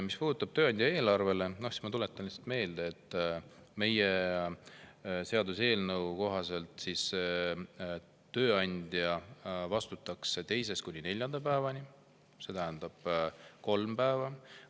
Mis puudutab tööandja eelarvet, siis ma tuletan meelde, et meie seaduseelnõu kohaselt tööandja vastutaks teisest kuni neljanda päevani, see tähendab kolm päeva.